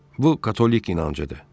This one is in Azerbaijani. Bu katolik inancıdır.